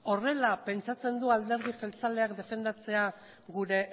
horrela pentsatzen du alderdi jeltzaleak defendatzea gure